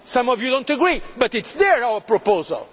Some of you do not agree but it is there, our proposal.